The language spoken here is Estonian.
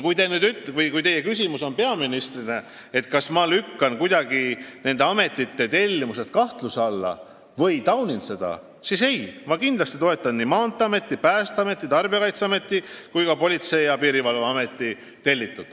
Ja kui teie küsimus peaministrile on, kas ma panen nende ametite tellimused kuidagi kahtluse alla või taunin seda, siis vastan nii: ei, ma kindlasti toetan nii Maanteeameti, Päästeameti, Tarbijakaitseameti kui ka Politsei- ja Piirivalveameti tellitut.